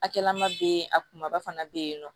Akɛlan ma be yen a kumaba fana be yen nɔ